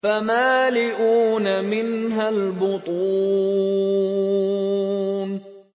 فَمَالِئُونَ مِنْهَا الْبُطُونَ